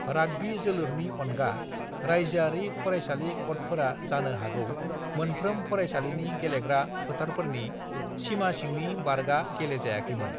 "Rugby जोलुरनि अनगा, राइजोआरि फरायसालि क'डफोरा जानो हागौ मोनफ्रोम फरायसालिनि गेलेग्रा फोथारफोरनि सीमासिंनि बारगा गेलेजायाखैमोन।"